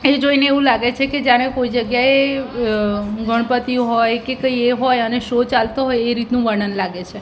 એ જોઈને એવું લાગે છે કે જાણે કોઈ જગ્યાએ અ ગણપતિ હોય કે કંઈ એ હોય અને શો ચાલતો હોય એ રીતનું વર્ણન લાગે છે.